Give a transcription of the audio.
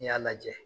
N'i y'a lajɛ